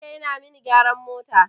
Bakanike yana mani gyaran mota.